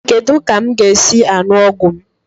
Kedu ka m ga-esi aṅụ ọgwụ m?